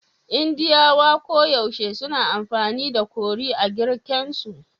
Indiyawa koyaushe suna amfani da curry a girken su